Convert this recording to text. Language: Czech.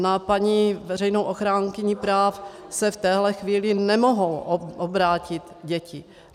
Na paní veřejnou ochránkyni práv se v téhle chvíli nemohou obrátit děti.